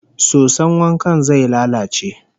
Soson wankan zai lalace